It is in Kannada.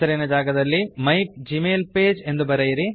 ಹೆಸರಿನ ಜಾಗದಲ್ಲಿ ಮೈಗ್ಮೈಲ್ಪಗೆ ಮೈ ಜಿಮೇಲ್ ಪೇಜ್ ಎಂದು ಬರೆಯಿರಿ